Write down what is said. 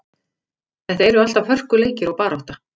Þetta eru alltaf hörkuleikir og barátta.